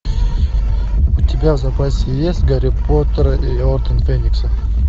у тебя в запасе есть гарри поттер и орден феникса